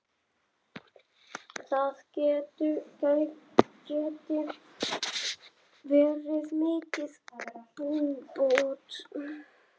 Það geti verið mikil búbót.